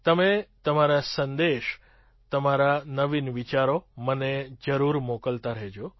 તમે તમારા સંદેશ તમારા નવીન વિચારો મને જરૂર મોકલતા રહેજો